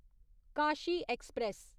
Kashi express